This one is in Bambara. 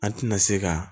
An tɛna se ka